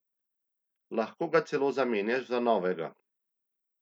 Lahko ga celo zamenjaš za novega.